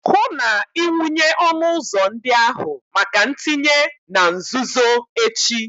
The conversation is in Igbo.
hụ na ị wụnye ọnụ ụzọ ndị ahụ maka ntinye na nzuzo echi